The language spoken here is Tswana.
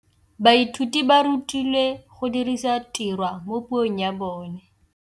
Baithuti ba rutilwe go dirisa tirwa mo puong ya bone.